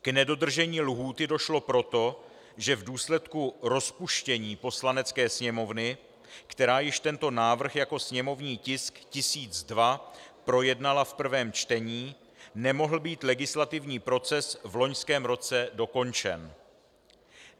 K nedodržení lhůty došlo proto, že v důsledku rozpuštění Poslanecké sněmovny, která již tento návrh jako sněmovní tisk 1002 projednala v prvém čtení, nemohl být legislativní proces v loňském roce dokončen.